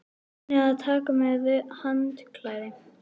Munið að taka með handklæði!